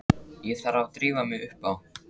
Ég þarf að drífa mig upp á